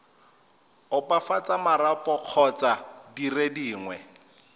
opafatsa marapo kgotsa dire dingwe